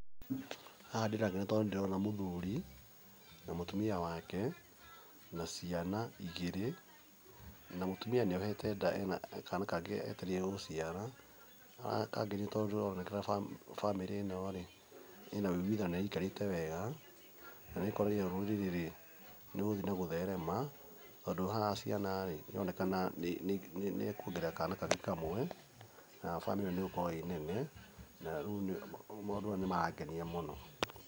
Haha ndĩrakena tondũ nĩ ndĩrona mũthuri na mũtimia wake na ciana igĩrĩ, na mũtimia nĩohete nda ena kana kangĩ etereire gũciara na gaka kangĩ nĩko ndĩrona kena bamĩrĩ-inó rĩ ĩna ũiguithanio na nĩ ĩikarĩte wega na nĩ kuonania rũrĩrĩ-rĩ nĩ rũgũthiĩ na gũtherema tondũ haha ciana rĩ, nĩ aronekana nĩ akuongerera kana kangĩ kamwe nayo bamĩrĩ ĩno nĩ ĩgũkorwo ĩrĩ nene, na maũndũ mayũ nĩ marangenia mũno.